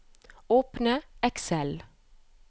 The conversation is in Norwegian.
Åpne Excel